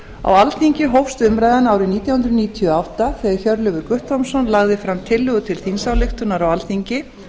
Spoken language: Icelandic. á alþingi hófst umræðan árið nítján hundruð níutíu og átta þegar hjörleifur guttormsson lagði fram tillögu til þingsályktunar á alþingi